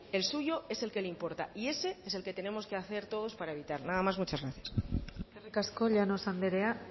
el suyo es el que le importa y ese es el que tenemos que hacer todos para evitar nada más muchas gracias eskerrik asko llanos andrea